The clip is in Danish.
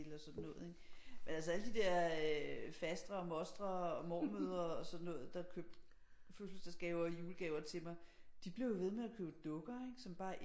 Vil og sådan noget ikke men alle de der øh fastre og mostre og mormødre og sådan noget der købte fødselsdagsgaver og julegaver til mig de blev jo ved med at købe dukker som bare